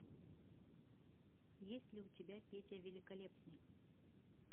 есть ли у тебя петя великолепный